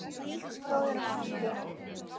Kæri bróðir og frændi.